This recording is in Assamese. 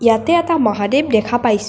ইয়াতে এটা মহাদেৱ দেখা পাইছোঁ।